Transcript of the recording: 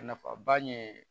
A nafaba ye